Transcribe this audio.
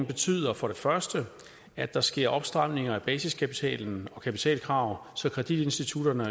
betyder for det første at der sker en opstramning af basiskapital og kapitalkrav så kreditinstitutterne